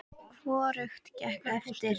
Hvorugt gekk eftir.